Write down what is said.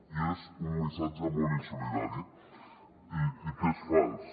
i és un missatge molt insolidari i que és fals